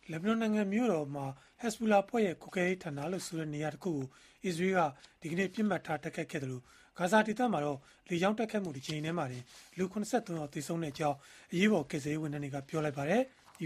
လက်ဘနွန်နိုင်ငံမြို့တော်မှာ ဟက်ဇ်ဘူလာအဖွဲ့ရဲ့ ကွပ်ကဲရေးဌာနလို့ဆိုတဲ့ နေရာတခုကို အစ္စရေးက ဒီကနေ့ ပစ်မှတ်ထား တိုက်ခိုက်နေသလို၊ ဂါဇာဒေသမှာတော့ လေကြောင်းတိုက်ခိုက်မှု တကြိမ်တည်းမှာတင် လူ ၇၃ ယောက် သေဆုံးကြောင်း အရေးပေါ် ကယ်ဆယ်ရေး ဝန်ထမ်းတွေက ပြောလိုက်ပါတယ်။